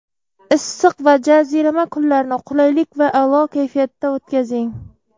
Issiq va jazirama kunlarni qulaylik va a’lo kayfiyatda o‘tkazing!.